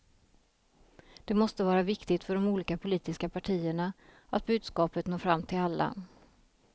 Det måste vara viktigt för de olika politiska partierna, att budskapet når fram till alla.